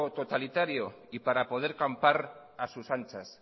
totalitario y para poder campar a sus anchas